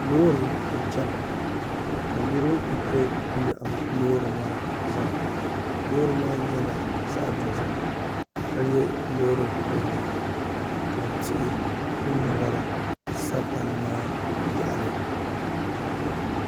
loori n-chena ka niriba kuli kpe m-miɛhim loori maa zaa loori maa nyɛla zaɣ'dozim ka nyɛ loori kurili ka tihi mini mɔri sa palli maa yaɣili